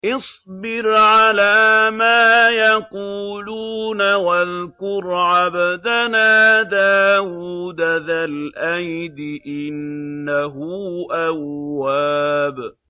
اصْبِرْ عَلَىٰ مَا يَقُولُونَ وَاذْكُرْ عَبْدَنَا دَاوُودَ ذَا الْأَيْدِ ۖ إِنَّهُ أَوَّابٌ